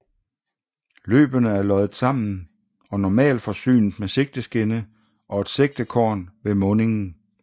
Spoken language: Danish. Løbene er loddet sammen og normalt forsynet med sigteskinne og et sigtekorn ved mundingen